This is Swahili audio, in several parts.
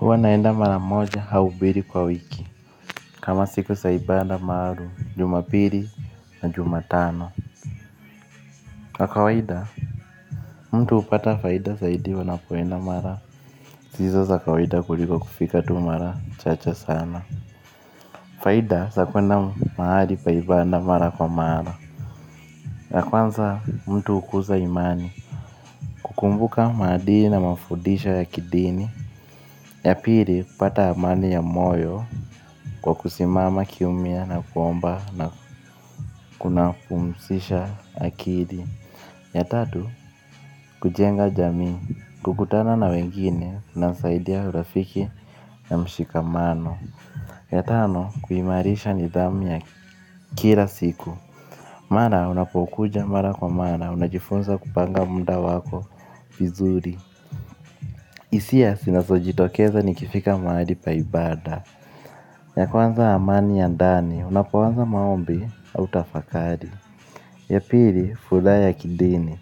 Huwa naenda mara moja au mbili kwa wiki. Kama siku za ibaada maalum jumapili na jumatano. Kwa kawaida mtu hupata faida zaidi wanapoenda mara hizo za kawaida kuliko kufika tu mara chacha sana. Faida za kuenda mahali pa ibaada mara kwa mara. Ya kwanza mtu hukuza imani. Kukumbuka maadili na mafudisho ya kidinim. Ya pili, kupata amani ya moyo kwa kusimama kimya na kuomba na kunapumzisha akili. Ya tatu, kujenga jamii, kukutana na wengine inasaidia urafiki ya mshikamano. Ya tano, kuimarisha nidhamu ya kila siku. Mara, unapokuja mara kwa mara, unajifunza kupanga mufa wako vizuri. Isia, zinazojitokeza nikifika mahali pa ibaada. Ya kwanza amani ya ndani, unapoanza maombi au tafakari. Ya pili, furaha ya kidini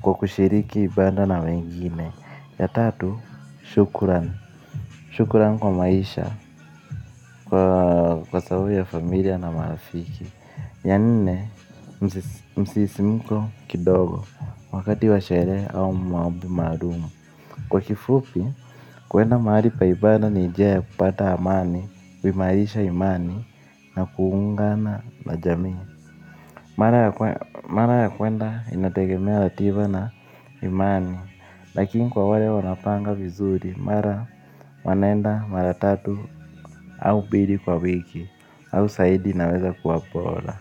kwa kushiriki ibaada na wengine. Ya tatu, shukuran. Shukuran kwa maisha kwa sababu ya familia na marafiki. Ya nne, msisimiko kidogo. Wakati wa sherehe au maombi maalum. Kwa kifupi, kuenda mahali pa ibaada ni njia ya kupata amani, kuimarisha imani na kuungana na jamii. Mara ya kwanza mara ya kuenda inategemea ratiba na imani. Lakini kwa wale wanaopanga vizuri mara wanaenda mara tatu au mbili kwa wiki. Au zaidi inaweza kuwa bora.